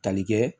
Tali kɛ